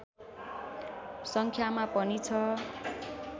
सङ्ख्यामा पनि छ